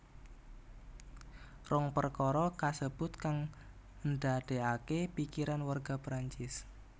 Rong perkara kasebut kang ndadekake pikiran warga Prancis